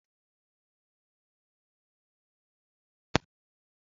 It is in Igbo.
Gwa nne gị ka o weta ngwugwu spaghetti echi